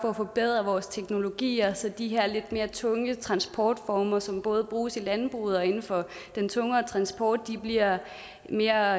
for at forbedre vores teknologier så de her lidt mere tunge transportformer som både bruges i landbruget og inden for den tungere transport bliver mere